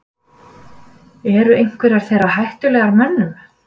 eru einhverjar þeirra hættulegar mönnum